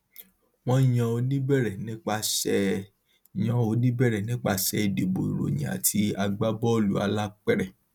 wọn yan oníbẹrẹ nípasẹ yan oníbẹrẹ nípasẹ ìdìbò ìròyìn àti agbábọọlù alápèrẹ